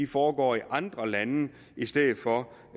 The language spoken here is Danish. foregår i andre lande i stedet for